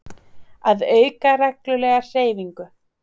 Að auka reglulega hreyfingu.